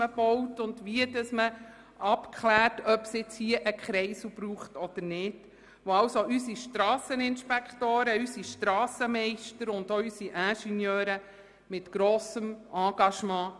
Dank haben wir noch Fachleute, die wissen, wie geplant, gebaut oder abgeklärt werden muss, ob es einen Kreisel braucht oder nicht.